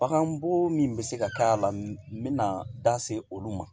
Bagan bon min bɛ se ka k'a la n bɛna da se olu ma